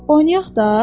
Oynayaq da?